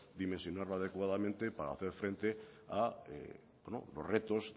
dimensionarla adecuadamente para hacer frente a bueno los retos